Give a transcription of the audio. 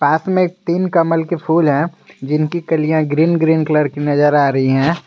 पास में तीन कमल के फूल हैं जिनकी कलियां ग्रीन ग्रीन कलर की नजर आ रही हैं।